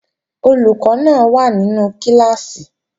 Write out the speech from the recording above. Olùkọ́ náà wà nínú kíláàsì